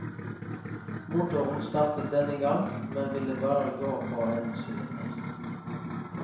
Motoren startet denne gang, men ville bare gå på en sylinder.